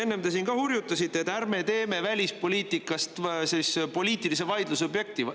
Enne te siin ka hurjutasite, et ärme teeme välispoliitikast poliitilise vaidluse objekti.